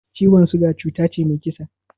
Ciwon siga cuta ce mai kisa